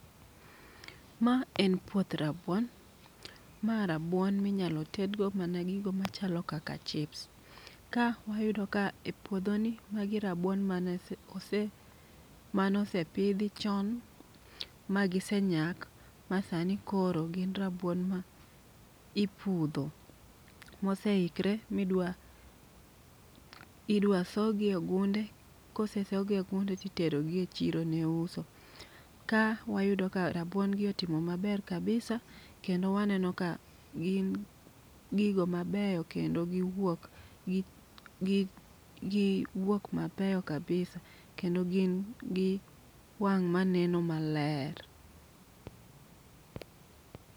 Ma en puoth rabuon ma rabuon ma inyalo tedgo mana gigo machalo kaka chips. Ka wayudo ka epuodho ni magio rabuon mane ose mane osepidhi chon magisenyak masani koro gin rabuon ma ipudho moseikre ma idwa idwa sogi e gunde kose sogi ne ginde to itero gi e chiro ni uso. Ka wayudo ka rabuon gi otimo maber kabisa kendo waneno ka gin gigo mabeyo kendo giwuok gi giwuok mabeyo kabisa kendo gin gi wang‘ maneno maler.